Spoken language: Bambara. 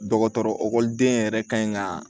Dɔgɔtɔrɔ ekɔliden yɛrɛ kan ka